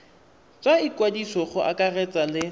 tsa ikwadiso go akaretsa le